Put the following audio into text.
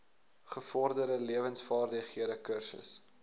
gevorderde lewensvaardighede kursus